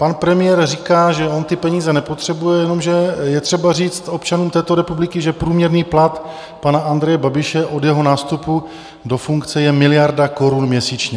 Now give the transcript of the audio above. Pan premiér říká, že on ty peníze nepotřebuje, jenomže je třeba říct občanům této republiky, že průměrný plat pana Andreje Babiše od jeho nástupu do funkce je miliarda korun měsíčně.